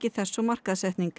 þess og markaðssetning